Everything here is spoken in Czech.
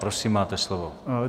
Prosím, máte slovo.